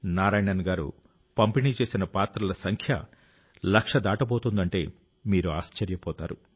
నారాయణన్ గారు పంపిణీ చేసిన పాత్రల సంఖ్య లక్ష దాటబోతుందంటే మీరు ఆశ్చర్యపోతారు